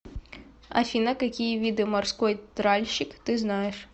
афина какие виды морской тральщик ты знаешь